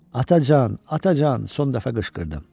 Atacan, Atacan, son dəfə qışqırdım.